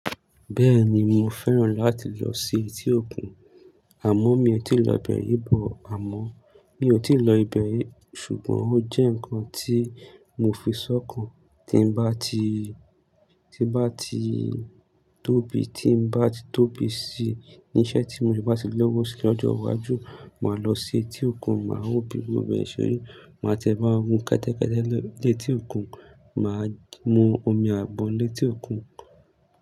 Bẹ́ẹ̀ni mo fẹ́ràn láti lọ sí etí òkun, àmọ́ mi ò tíì lọ ibe ri, but àmọ́ mi ò tíì lọ ibẹ̀ ri ṣùgbọ́n ó jẹ́ nǹkan tí mo fi sọ́kàn. Tí bá ti, tí bá ti tóbi, tí bá tóbi sí i, ní iṣẹ́ tí mo bá ti lọ́wọ́ sí lọ́jọ́ iwájú, màá lọ sí etí òkun, màá wo bi gbogbo e seri, màá tiẹ ba won gun ketẹ́ketẹ́ létí òkun, màá mu omi àgbon létí òkun.